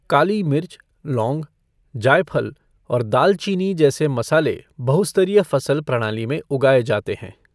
काली मिर्च, लौंग, जायफल और दालचीनी जैसे मसाले बहु स्तरीय फसल प्रणाली में उगाए जाते हैं।